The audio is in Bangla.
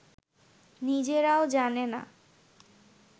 নিজেরাও জানে না